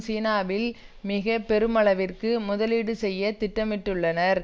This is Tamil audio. சீனாவில் மிக பெருமளவிற்கு முதலீடு செய்ய திட்டமிட்டுள்ளனர்